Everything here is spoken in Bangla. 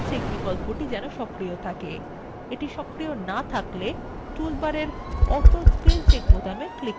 এটি সক্রিয় so থাকলে তাহলে toolbar অটো স্পেল চেক বোতামে click করুন